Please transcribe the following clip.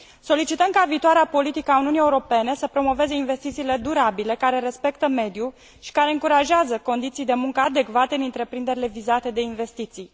Solicităm ca viitoarea politică a Uniunii Europene să promoveze investițiile durabile, care respectă mediul și care încurajează condiții de muncă adecvate în întreprinderile vizate de investiții.